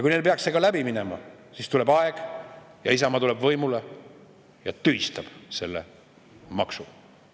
Kui neil peaks see läbi minema, siis tuleb aeg ja Isamaa tuleb võimule ja tühistab selle maksu.